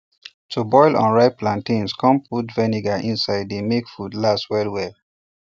to boil unripe plantains come put vinegar inside dey make food last well well